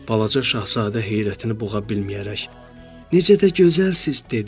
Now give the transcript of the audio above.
Balaca şahzadə heyrətini boğa bilməyərək, Necə də gözəlsiz, dedi.